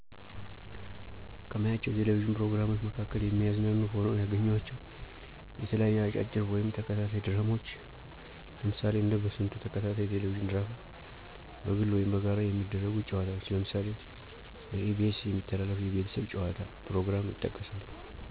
ከማያቸው የቴሌቪዥን ፕሮግራሞች መካከል የሚያዝናኑ ሆነው ያገኘኋቸው የተለያዩ አጫጭር ወይም ተከታታይ ድራማዎች ለምሳሌ እንደ በስንቱ ተከታታይ የቴሌቪዥን ድራማ፣ በግል ወይም በጋራ የሚደረጉ ጨዋታዎች ለምሳሌ በኢ.ቢ.ኤስ የሚተላለፍ የቤተሰብ ጨዋታ ፕሮግራም ይጠቀሳሉ።